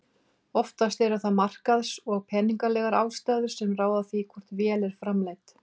Oftast eru það markaðs- og peningalegar ástæður sem ráða því hvort vél er framleidd.